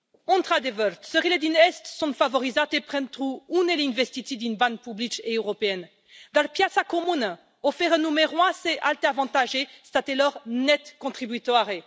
Într adevăr, țările din est sunt favorizate pentru unele investiții din bani publici europeni, dar piața comună oferă numeroase alte avantaje statelor net contribuitoare.